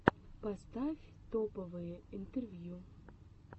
поставь топовые интервью